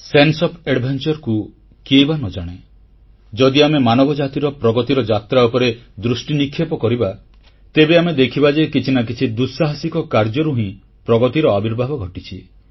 sense of Adventureକୁ କିଏ ବା ନ ଜାଣେ ଯଦି ଆମେ ମାନବ ଜାତିର ପ୍ରଗତିର ଯାତ୍ରା ଉପରେ ଦୃଷ୍ଟିନିକ୍ଷେପ କରିବା ତେବେ ଆମେ ଦେଖିବା ଯେ କିଛି ନା କିଛି ଦୁଃସାହସିକ କାର୍ଯ୍ୟରୁ ହିଁ ପ୍ରଗତିର ଆବିର୍ଭାବ ଘଟିଛି